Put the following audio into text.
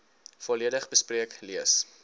volledig bespreek lees